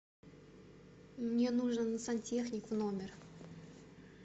мне нужен сантехник в номер